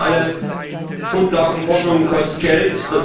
Wir wissen alle, Grundlagenforschung kostet Geld.